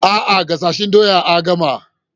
A'a, gasasshen doya a gama.